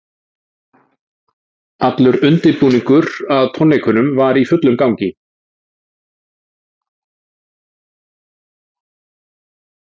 Allur undirbúningur að tónleikunum var í fullum gangi.